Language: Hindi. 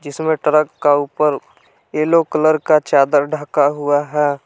इसमें ट्रक का ऊपर येलो कलर का चादर ढका हुआ है।